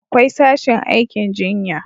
akwai sashin aikin jinya